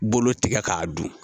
Bolo tigɛ k'a dun